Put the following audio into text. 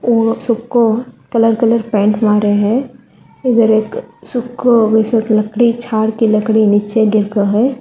वो सबको colour colour paint मारे हैं इधर एक सुको लकड़ी झाड़ की लकड़ी नीचे गिर को है।